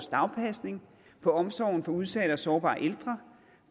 dagpasning på omsorgen for udsatte og sårbare ældre